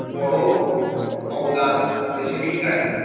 বর অবদান রয়েছে বিজ্ঞানের